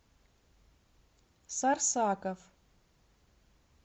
сарсаков